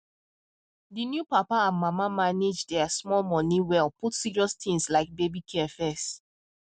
the new papa and mama manage their small money well put serious things like baby care first